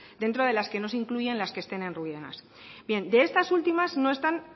dentro de las que no se incluyen las que estén en ruinas bien de estas últimas no están